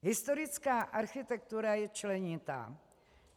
Historická architektura je členitá.